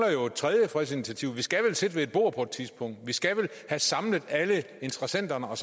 tredje fredsinitiativ vi skal vel sidde ved et bord på et tidspunkt vi skal vel have samlet alle interessenterne og